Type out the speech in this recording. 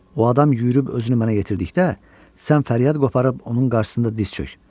O adam yürüyüb özünü mənə yetirdikdə, sən fəryad qoparıb onun qarşısında diz çök.